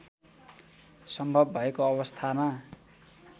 सम्भव भएको अवस्थामा